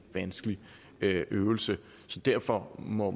vanskelig øvelse derfor må